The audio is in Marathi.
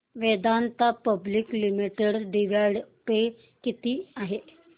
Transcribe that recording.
Vedanta public limited dividend pay किती आहे